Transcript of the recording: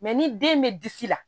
ni den bɛ disi la